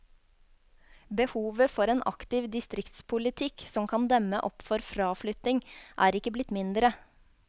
Behovet for en aktiv distriktspolitikk som kan demme opp for fraflytting, er ikke blitt mindre.